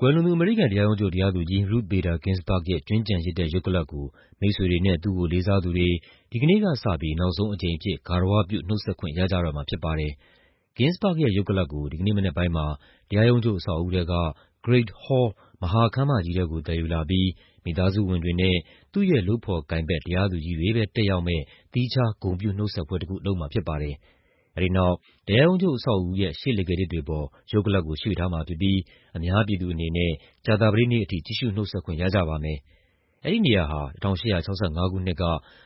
ကွယ်လွန်သူ အမေရိကန်တရားရုံးချုပ် တရားသူကြီး Ruth Bader Ginsburg ရဲ့ ကြွင်းကျန်ရစ်တဲ့ ရုပ်ကလပ်ကို မိတ်ဆွေတွေနဲ့ သူ့ကို လေးစားသူတွေ ဒီကနေ့ကစပြီး နောက်ဆုံးအကြိမ်အဖြစ် ဂါရဝပြု နှုတ်ဆက်ခွင့်ရကြတော့မှာဖြစ်ပါတယ်။ Ginsburg ရဲ့ ရုပ်ကလပ်ကို ဒီကနေ့မနက်ပိုင်းမှာ တရားရုံးချုပ် အဆောက်အဦးထဲက Great Hall မဟာခန်းမကြီးထဲကို သယ်ယူလာပြီး မိသားစုဝင်တွေနဲ့ သူ့ရဲ့လုပ်ဖော်ကိုင်ဖက် တရားသူကြီးတွေပဲ တက်ရောက်မယ့် သီးခြား ဂုဏ်ပြုနှုတ်ဆက်ပွဲတခု လုပ်မှာဖြစ်ပါတယ်။ အဲဒီနောက် တရားရုံးချုပ် အဆောက်အဦးရဲ့ ရှေ့လှေခါးထစ်တွေပေါ် ရုပ်ကလပ်ကို ရွှေ့ထားမှာဖြစ်ပြီး အများပြည်သူအနေနဲ့ ကြာသပတေးနေ့အထိ ကြည့်ရှု နှုတ်ဆက်ခွင့်ရကြပါမယ်။ အဲဒီနေရာဟာ ၁၈၆၅ ခုနှစ်က